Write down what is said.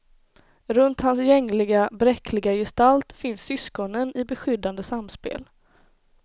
Runt hans gängliga, bräckliga gestalt finns syskonen i beskyddande samspel.